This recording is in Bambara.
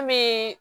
An bɛ